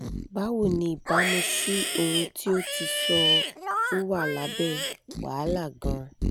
bawo ni ibamu si ohun ti o ti sọ o wa labe wahala gan-an